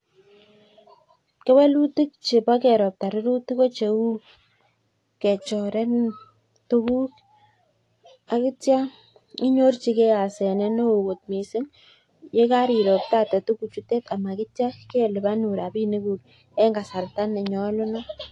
Keelutik chebo keropta rurutik ko cheu kechorenin tuguk ak kityo inyorjige hasenet neo kot mising ye kairoptate tuguchutet ama kityo kelipanun rabiniguk en kasarta ne nyolunot.